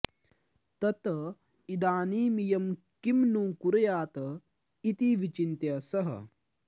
तत् इदानीमियं किं नु कुर्यात् इति विचिन्त्य सः